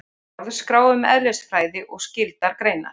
Orðaskrá um eðlisfræði og skyldar greinar.